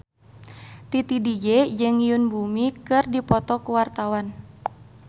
Titi DJ jeung Yoon Bomi keur dipoto ku wartawan